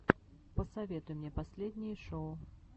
посоветуй мне последние шоу